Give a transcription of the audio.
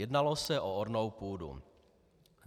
Jednalo se o ornou půdu.